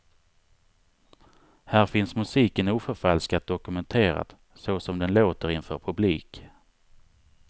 Här finns musiken oförfalskat dokumenterad, så som den låter inför publik.